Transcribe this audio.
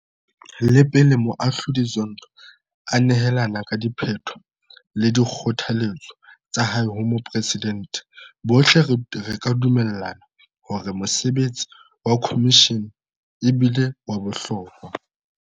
Le pele Moahlodi Zondo a nehelana ka diphetho le dikgothaletso tsa hae ho Moporesidente, bohle re ka dumellana hore mosebetsi wa khomishene e bile wa bohlokwa.